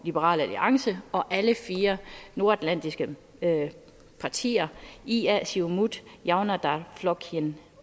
liberal alliance og alle fire nordatlantiske partier ia siumut javnaðar flokkurin